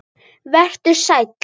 Vertu sæll.